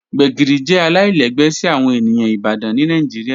Gbegiri jẹ alailẹgbẹ si awọn eniyan Ibadan ni Nigeria